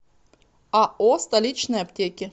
ао столичные аптеки